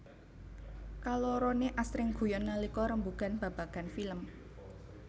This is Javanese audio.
Kaloroné asring guyon nalika rembugan babagan film